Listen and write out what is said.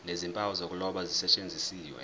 nezimpawu zokuloba zisetshenziswe